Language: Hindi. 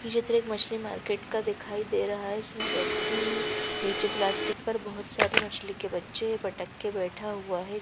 ये चित्र एक मछली मार्केट का दिखाई दे रहा है इसमें व्यक्ति नीचे प्लास्टिक पर बहोत सारे मछली के बच्चे पटक के बैठा हुआ है।